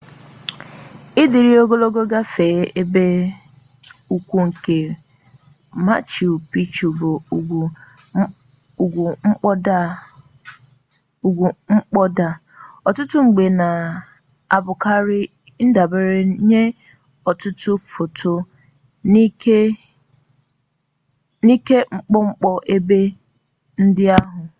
dịrị ogologo gafee ebe ugwu nke machu picchu bụ ugwu mkpoda a ọtụtụ mgbe na-abụkarị ndabere nye ọtụtụ foto nke mkpọmkpọ ebe ndị ahụ